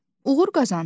Uğur qazandım.